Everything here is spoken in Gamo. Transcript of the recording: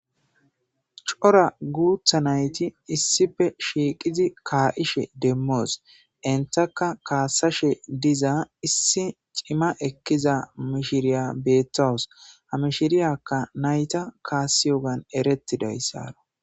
Cora guuththa nayti issippe shiiqidi ka'ishe demmos; entakka kasashe diza issi cima ekkiza mishiriya beetawus; ha mishiriyaka nayta kaasiyogan erettidaysa.